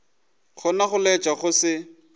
gona go laetša go se